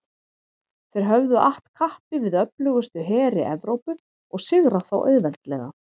Þeir höfðu att kappi við öflugustu heri Evrópu og sigrað þá auðveldlega.